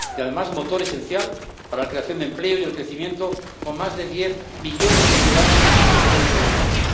y, además, motor esencial para la creación de empleo y el crecimiento, con más de diez millones de ciudadanos que se ven involucrados.